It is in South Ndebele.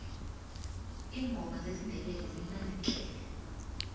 iingoma zesindebele zimnandi tle